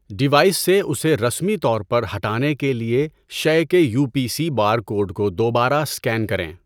Device سے اسے رسمی طور پر ہٹانے کے لیے شے کے U P C barcode کو دوبارہ اسکین کریں۔